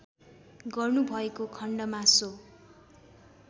गर्नुभएको खण्डमा सो